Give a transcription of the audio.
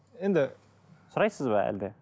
енді сұрайсыз ба әлде